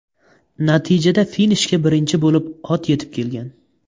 Natijada finishga birinchi bo‘lib ot yetib kelgan.